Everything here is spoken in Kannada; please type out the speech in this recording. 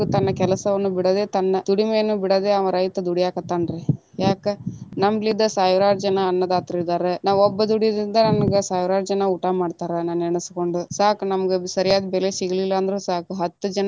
ತನ್ನ ಕೆಲಸವನ್ನು ಬಿಡದೆ ತನ್ನ ದುಡಿಮೆನ್ನು ಬಿಡದೆ, ಅವಾ ರೈತ ದುಡ್ಯಾಕತಾನ ರೀ ಯಾಕ ನಮ್ಮಲಿಂದಾ ಸಾವಿರಾರು ಜನಾ ಅನ್ನದಾತರಿದಾರ, ನಾ ಒಬ್ಬ ದುಡುಯುದ್ರಿಂದ ನನಗ ಸಾವಿರಾರು ಜನಾ ಊಟಾ ಮಾಡ್ತಾರಾ ನನ್ನ ನೆನಸ್ಕೊಂಡ ಸಾಕ ನಮ್ಗ ಸರಿಯಾಗಿ ಬೆಲೆ ಸಿಗ್ಲಿಲ್ಲ ಅಂದ್ರು ಸಾಕು ಹತ್ತ ಜನಾ.